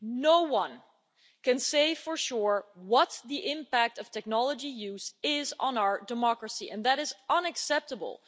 no one can say for sure what the impact of technology use is on our democracy, and that is unacceptable.